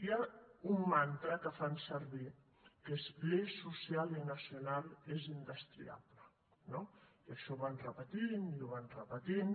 hi ha un mantra que fan servir que és l’eix social i nacional és indestriable no i això ho van repetint i ho van repetint